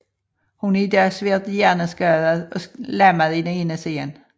Hun er i dag svært hjerneskadet og lammet i den ene side